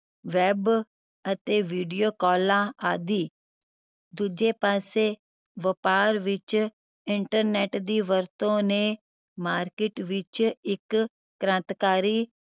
web ਅਤੇ video ਕਾਲਾਂ ਆਦਿ ਦੂਜੇ ਪਾਸੇ ਵਪਾਰ ਵਿਚ internet ਦੀ ਵਰਤੋਂ ਨੇ market ਵਿਚ ਇੱਕ ਕ੍ਰਾਂਤੀਕਾਰੀ